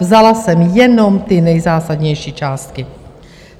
Vzala jsem jenom ty nejzásadnější částky.